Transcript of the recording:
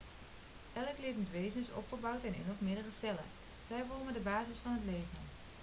elk levend wezen is opgebouwd uit één of meerdere cellen zij vormen de basis van het leven